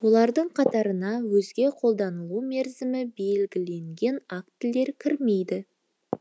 олардың қатарына өзге қолданылу мерзімі белгіленген актілер кірмейді